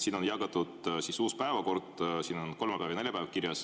Siin on laiali jagatud uus päevakord, kus on kirjas kolmapäev ja neljapäev.